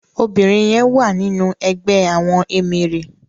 Óbirin yèn wá ninú ègbè àwòn éméré